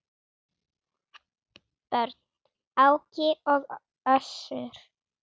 Börn: Áki og Össur.